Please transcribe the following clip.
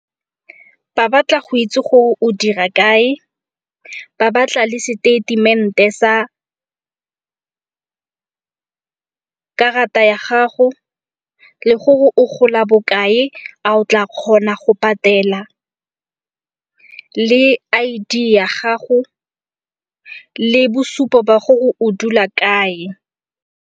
Ba batla go itse gore o dira kae, ba batla le seteitemente sa karata ya gago le gore o gola bokae. A o tla kgona go patela le I_D ya gago le bosupo ba gore o dula kae.